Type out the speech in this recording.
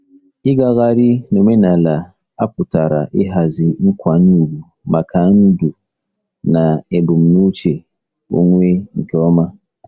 Ịgagharị n'omenala a pụtara ịhazi nkwanye ùgwù maka ndu na ebumnuche onwe nke ọma.